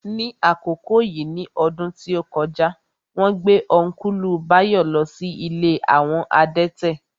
Ní àkókò yìí ní ọdún tí ó kọjá, wón gbé Ọ́nkùlù Báyọ̀ lọ sí ilé àwọn adẹ́tẹ̀